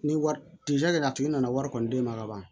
Ni wari a tigi nana wari kɔni d'e ma kaban